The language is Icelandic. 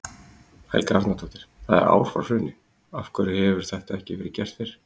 Helga Arnardóttir: Það er ár frá hruni, af hverju hefur þetta ekki verið gert fyrr?